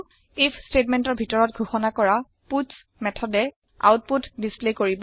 if ষ্টেটমেণ্টৰ ভিতৰত ঘোষণা কৰা পাটছ মেথডে আওতপুত ডিচপ্লে কৰিব